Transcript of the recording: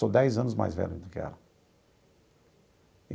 Sou dez anos mais velho do que ela.